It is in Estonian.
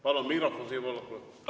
Palun mikrofon Siim Pohlakule!